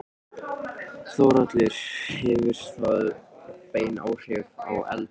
Þórhallur: Hefur það bein áhrif á eldið?